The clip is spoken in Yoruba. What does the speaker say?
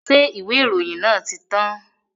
Ṣé ìwé ìròyìn yẹn ti tán?